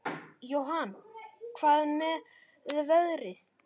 Jóhann: Hvað með veðrið?